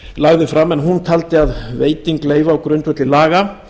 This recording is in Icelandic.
lagði fram en hún taldi að veiting leyfa á grundvelli laga